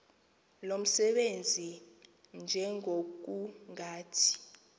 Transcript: lo msebenzi njengokungathi